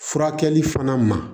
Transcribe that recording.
Furakɛli fana ma